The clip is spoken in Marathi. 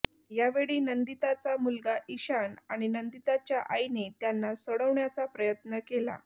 यावेळी नंदिताचा मुलगा इशान आणि नंदिताच्या आईने त्यांना सोडवण्याचा प्रयत्न केला